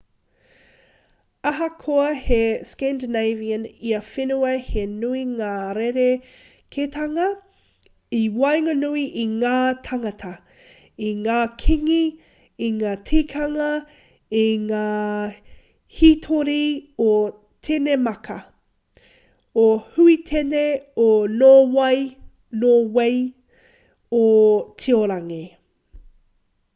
ahakoa he scandinavian ia whenua he nui ngā rerekētanga i waenganui i ngā tāngata i ngā kīngi i ngā tikanga i ngā hītori o tenemāka o huitene o nōwei o tiorangi